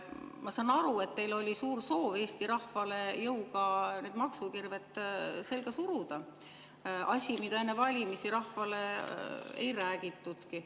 Ma saan aru, et teil oli suur soov Eesti rahvale jõuga need maksukirved selga suruda – asi, mida enne valimisi rahvale ei räägitudki.